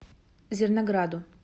зернограду